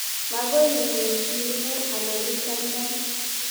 Makoi imuch ing'uu anan ichamcham.